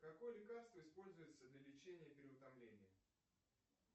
какое лекарство используется для лечения переутомления